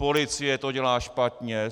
Policie to dělá špatně.